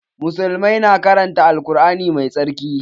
Musullmai na karanta Al Kur'ani mai tsarki